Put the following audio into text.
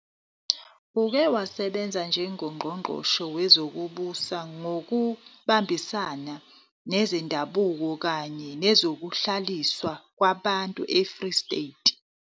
Uke wasebenza njengoNgqongqoshe Wezokubusa Ngokubambisana Nezendabuko kanye Nezokuhlaliswa Kwabantu eFree State.